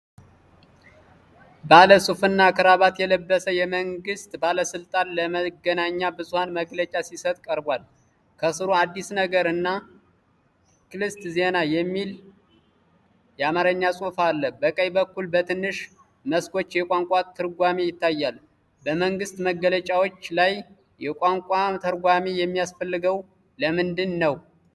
ባለሱትና ክራባት የለበሰ የመንግስት ባለስልጣን ለመገናኛ ብዙሃን መግለጫ ሲሰጥ ቀርቧል። ከስሩ "አዲስ ነገር" እና "ክልሰት ዜና" የሚል የአማርኛ ጽሑፍ አለ። በቀኝ በኩል በትንሽ መስኮት የቋንቋ ተርጓሚ ይታያል። በመንግስት መግለጫዎች ላይ የቋንቋ ተርጓሚ የሚያስፈልገው ለምንድን ነው?